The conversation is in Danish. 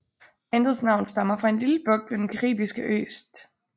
Bandets navn stammer fra en lille bugt ved den caribiske ø St